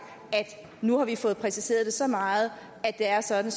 at nu har vi fået præciseret det så meget at det er sådan